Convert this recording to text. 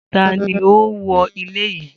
Ta ni ó wó ilé yìí?